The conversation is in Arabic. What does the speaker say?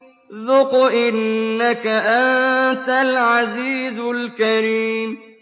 ذُقْ إِنَّكَ أَنتَ الْعَزِيزُ الْكَرِيمُ